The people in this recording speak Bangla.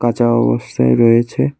কাঁচা অবস্থায় রয়েছে।